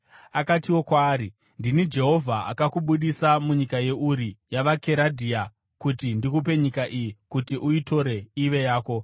Akatiwo kwaari, “Ndini Jehovha, akakubudisa munyika yeUri yavaKaradhea kuti ndikupe nyika iyi kuti uitore ive yako.”